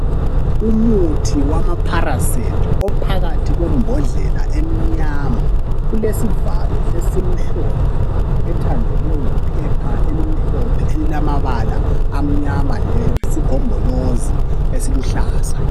Umuthi wamaparacet ophakathi kwembodlela emnyama, ulesivalo esimhlophe ethandelwe ngephepha elilamabala amnyama lesigombolozi esiluhlaza.